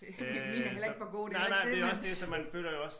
Min er heller ikke for god det er ikke det men